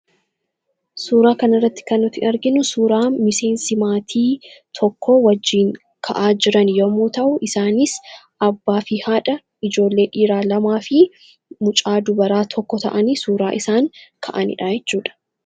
Suuraa kana irratti kan nuti arginu suuraa miseensi maatii tokkoo wajjin ka'aa jiran yommuu ta'u, isaanis abbaa fi haadha, ijoollee dhiiraa lamaa fi mucaa dubaraa tokko ta'anii suuraa isaan ka'anii dha jechuudha.